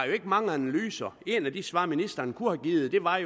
mange analyser et af de svar ministeren kunne have givet var